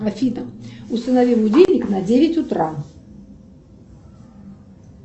афина установи будильник на девять утра